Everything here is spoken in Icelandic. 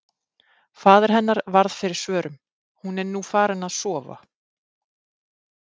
Faðir hennar varð fyrir svörum: Hún er nú farin að sofa.